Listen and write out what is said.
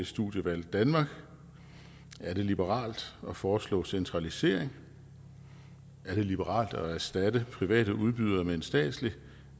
studievalg danmark er det liberalt at foreslå centralisering er det liberalt at erstatte private udbydere med en statslig